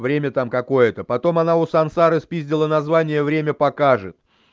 время там какое-то потом она у сансары спиздила название время покажет